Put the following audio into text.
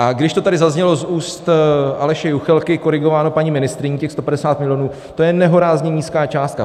A když to tady zaznělo z úst Aleše Juchelky, korigováno paní ministryní, těch 150 milionů, to je nehorázně nízká částka.